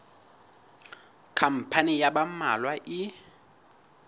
khampani ya ba mmalwa e